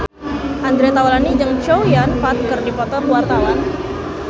Andre Taulany jeung Chow Yun Fat keur dipoto ku wartawan